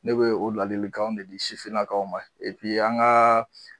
Ne bɛ o ladilikanw de di sifininakaw ma an ka